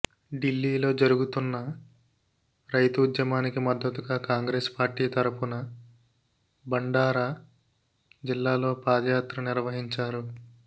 డిల్లీలో జరుగుతున్న రైతు ఉద్యమానికి మద్దతుగా కాంగ్రెస్ పార్టీ తరఫున భండార జిల్లాలో పాదయాత్ర నిర్వహించారు